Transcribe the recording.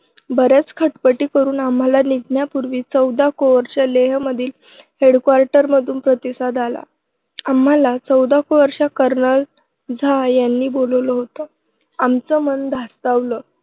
बऱ्याच खटपटी करून आम्हांला निघण्यापूर्वी चौदा कोअरच्या लेहमधील headquarter मधून प्रतिसाद आला. आम्हांला चौदा कोअरच्या kernel झा. यांनी बोलावलं होतं. आमचं मन धास्तावलं.